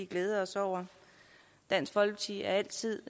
glæde os over dansk folkeparti er altid